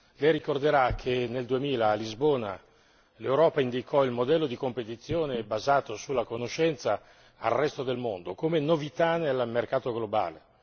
Lei ricorderà che nel 2000 a Lisbona, l'Europa indicò il modello di competizione basato sulla conoscenza al resto del mondo come novità nel mercato globale.